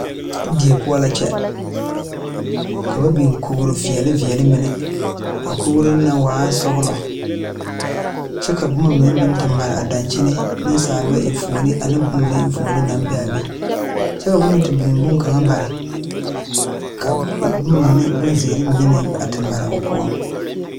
Die poɔ la kyɛ ,ka ba biŋ koge veɛli veɛli mine a kogro na waa sɔglɔ kyɛ ka boma mine meŋ te mare a daŋkyeni niŋsaalba eŋfuoni ane boma mine eŋfuoni naŋ be a be kyɛ ka ba meŋ te biŋ boma mine bare ka boma mine boŋ zēēre a te Mari o poɔŋ.